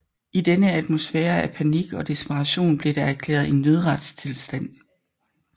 I denne atmosfære af panik og desperation blev der erklæret en nødretstilstand